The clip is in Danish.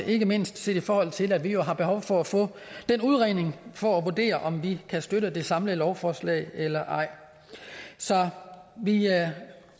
ikke mindst set i forhold til at vi jo har behov for at få den udredning for at vurdere om vi kan støtte det samlede lovforslag eller ej så vi